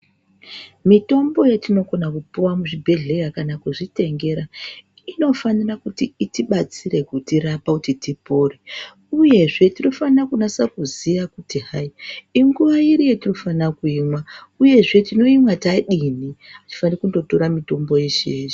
Mitombo yetinokona kupuwa muzvibhehleya kana kuzvitengera inofanira kuti itidetsere kutirapa kuti tipore uyezve tinofanira kunasa kuziya kuti hai inguwa iri yatinofanira kuimwa uyezve tinoimwa tadini. Atifaniri kundotora mitombo yeshe-yeshe.